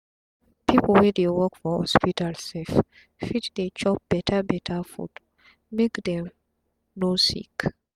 pipu wey dey work for hospital sef fit dey chop beta beta food make dem no sick